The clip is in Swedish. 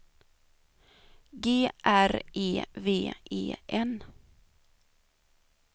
G R E V E N